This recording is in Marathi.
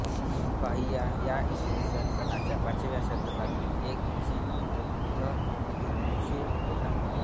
फाहियान हा इसवी सनाच्या पाचव्या शतकातील एक चिनी बौद्ध भिक्खू होता